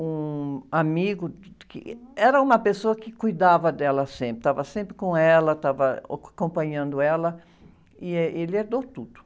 um amigo, que era uma pessoa que cuidava dela sempre, estava sempre com ela, estava, acompanhando ela e, eh, ele herdou tudo.